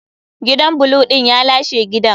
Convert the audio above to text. Gidan blue din ya lashe gidan.